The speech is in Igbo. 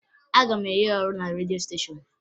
A ga-enye ya ọrụ na redio steshọn